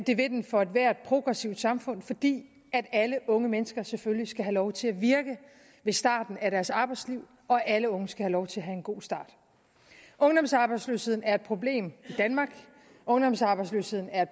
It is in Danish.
det vil den for ethvert progressivt samfund fordi alle unge mennesker selvfølgelig skal have lov til at virke ved starten af deres arbejdsliv og alle unge skal have lov til at have en god start ungdomsarbejdsløsheden er et problem i danmark ungdomsarbejdsløsheden er